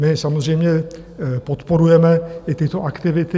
My samozřejmě podporujeme i tyto aktivity.